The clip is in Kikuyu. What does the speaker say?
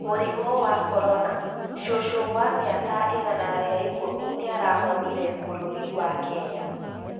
Mũrimũ wa Korona: cũcũ wa mĩaka igana rĩa ikũmi nĩarahonire bũrũri wa Kenya